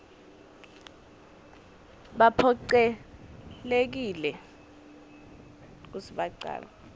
baphocelelekile kutsi bacale